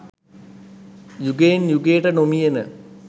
යුගයෙන් යුගයට නොමියෙන